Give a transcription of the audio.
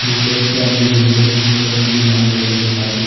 पुरानी बिल्डिंग पुरानी मीनार वगैरह दिखा दी।